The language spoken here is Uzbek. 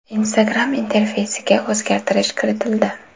Instagram interfeysiga o‘zgartirish kiritildi.